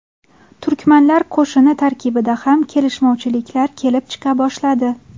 Turkmanlar qo‘shini tarkibida ham kelishmovchiliklar kelib chiqa boshladi.